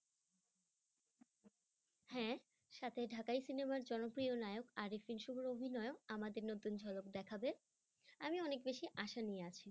হ্যাঁ সাথে ঢাকায় cinema ই জনপ্রিয় নায়ক শুভর অভিনয় আমাদের নতুন ঝলক দেখাবে আমি অনেক বেশি আশা নিয়ে আছি।